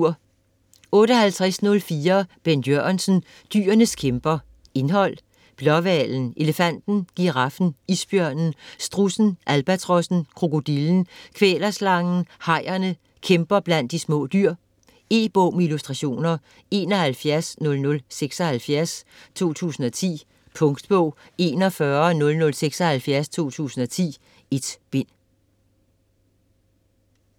58.04 Jørgensen, Bent: Dyrenes kæmper Indhold: Blåhvalen; Elefanten; Giraffen; Isbjørnen; Strudsen; Albatrossen; Krokodillen; Kvælerslangen; Hajerne; Kæmper blandt de små dyr. E-bog med illustrationer 710076 2010. Punktbog 410076 2010. 1 bind.